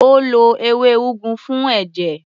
Ó lo ewé úgú fún ẹ̀jẹ̀.